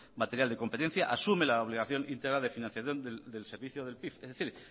material de competencia asume la obligación íntegra de financiación del servicio del pif es decir